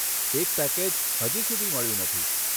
એક પેકેજ હજી સુધી મળ્યું નથી.